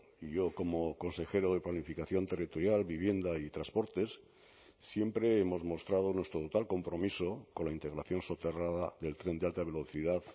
y yo como consejero de planificación territorial vivienda y transportes siempre hemos mostrado nuestro total compromiso con la integración soterrada del tren de alta velocidad